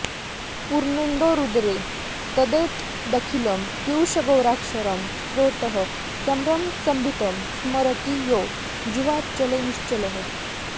पूर्णेन्दोरुदरे तदेतदखिलं पीयूषगौराक्षरं स्रोतःसम्भ्रमसम्भृतं स्मरति यो जिह्वाञ्चले निश्चलः